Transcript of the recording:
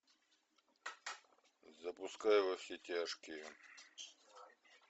запускай во все тяжкие